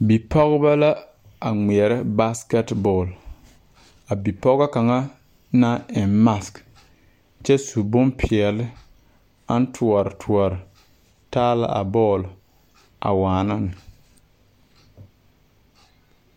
Bipɔgebɔ la ngmɛɛrɛ baaskɛt bɔɔl a bipɔgɔ kaŋa na eŋ mak kyɛ su bonpeɛɛle aŋ tɔɔre tɔɔre taa la a bɔɔle a waana ne.